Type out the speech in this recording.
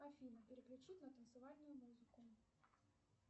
афина переключи на танцевальную музыку